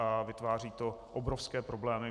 A vytváří to obrovské problémy.